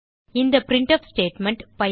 இந்த printf statement